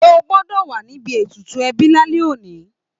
O gbọ́dọ̀ wà níbi ètùtù ẹbí lálẹ́ òní